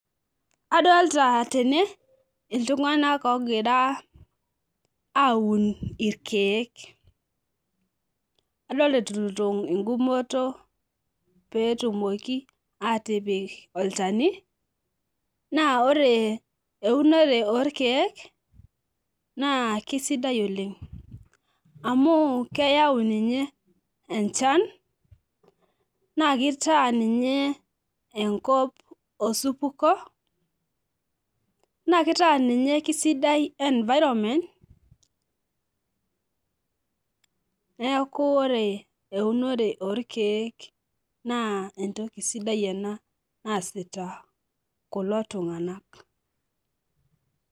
Adolta tene iltunganak ogira aun irkiek , adolta eturito engumoto pee etumoki atipik olchani naa ore eunore orkiek naa kisidai oleng amu keyau ninye enchan naa kitaa ninye enkop osupuko naa kitaa ninye kisidai environment neeku ore eunore orkiek naa entoki sidai ena naasita kulo tunganak.